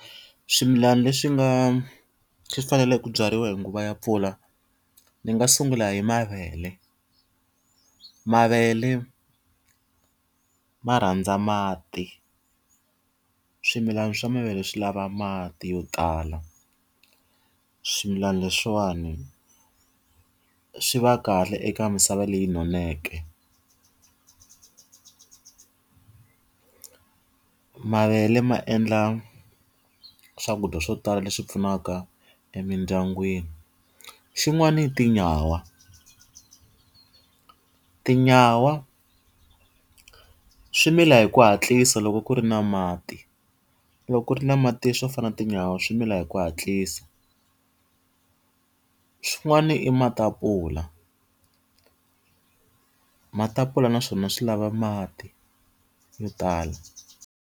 Swimilana leswi nga swi faneleke ku byariwa hi nguva ya mpfula, ndzi nga sungula hi mavele. Mavele ma rhandza mati, swimilana swa mavele swi lava mati yo tala. Swimilana leswiwani swi va kahle eka misava leyi noneke. Mavele ma endla swakudya swo tala leswi pfunaka emindyangwini. Xin'wani i tinyawa. Tinyawa swi mila hi ku hatlisa loko ku ri na mati. Loko ku ri na mati swo fana na tinyawa swi mila hi ku hatlisa. Swin'wana i matapula. Matapula na swona swi lava mati yo tala.